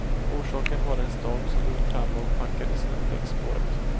Orsaken var den storm som drog fram och packade snön längs spåret.